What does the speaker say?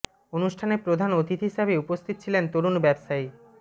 অনুষ্ঠানে প্রধান অতিথি হিসাবে উপস্থিত ছিলেন তরুণ ব্যবসায়ী মো